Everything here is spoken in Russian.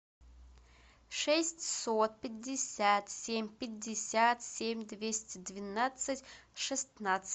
шестьсот пятьдесят семь пятьдесят семь двести двенадцать шестнадцать